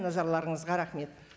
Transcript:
назарларыңызға рахмет